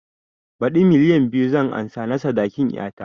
Baɗi milliyan biyu zan ansa na sadakin ƴata